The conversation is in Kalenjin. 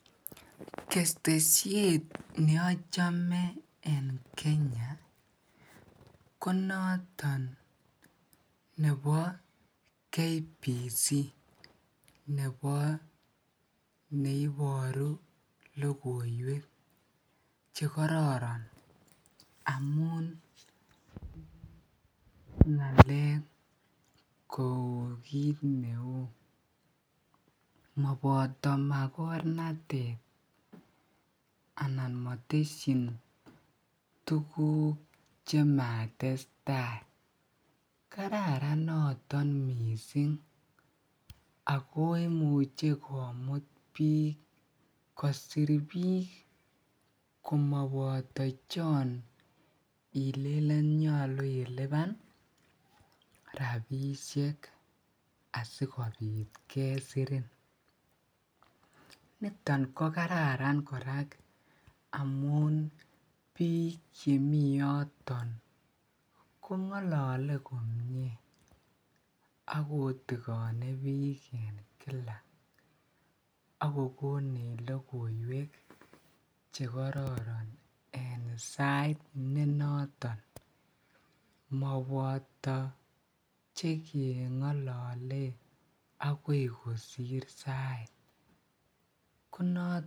ketesyeet neochome en kenya ko noto nebo Kenya Broadcasting Corporation, nebo neiboru logoiweek chegororon amuun ngaleek kouu kiit neuu moboto magornateet anan motesyinn tuguuk chematestai, kararan noton mising agoi imuche komuut biik kossir biik komoboto chon ilelen nyolu iliban rabishek asigobiit kesirin niton kogararan koraa amuun biik chemii yoton kongolole komyee ak kotigoni biik kila ak kogonech logoiweek chegororon en sait nenoton moboto chengolole agoi kosiir sait ko noton.